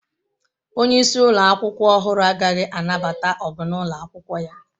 Onye isi ụlọ akwụkwọ ọhụrụ agaghị anabata ọgụ n'ụlọ akwụkwọ ya.